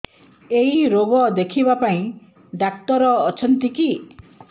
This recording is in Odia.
ଏଇ ରୋଗ ଦେଖିବା ପାଇଁ ଡ଼ାକ୍ତର ଅଛନ୍ତି କି